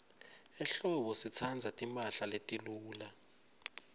ehlobo sitsandza timphahla letiluca